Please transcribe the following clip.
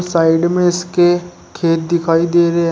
Side में इसके खेत दिखाई दे रहे हैं।